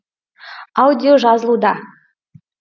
аудио жазылуда